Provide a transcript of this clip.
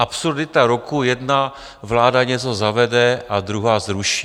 Absurdita roku - jedna vláda něco zavede a druhá zruší.